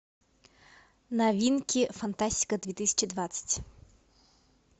новинки фантастика две тысячи двадцать